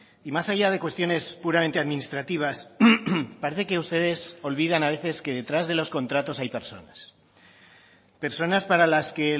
y más allá de cuestiones puramente administrativas parece que ustedes olvidan a veces que detrás de los contratos hay personas personas para las que